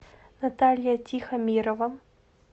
наталья тихомирова